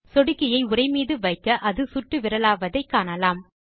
சொடுக்கியை உரை மீது வைக்க அது சுட்டுவிரலாவதை காணலாம்